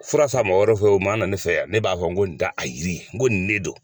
Fura san mɔgɔ wɛrɛ fɛ o m'a na ne fɛ yan ne b'a fɔ ko nin t'a a yiri n ko nin ne don.